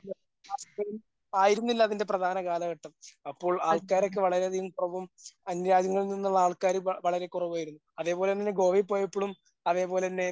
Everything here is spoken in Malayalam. ആയിരുന്നില്ല അതിന്റെ പ്രധാന കാലഘട്ടം. അപ്പോൾ ആൾക്കാരൊക്കെ വളരെ അധികം പ്രഭുവും അന്യരാജ്യങ്ങളിൽ നിന്നുള്ള ആൾക്കാര് വളരെ കുറവായിരുന്നു. അതേപോലെ തന്നെ ഗോവയിൽ പോയപ്പോഴും. അതേപോലെ തന്നെ